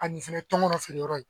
A nin fɛnɛ ye tɔnkɔnɔ feere yɔrɔ ye